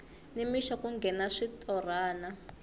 ni mixo ku nghena switorana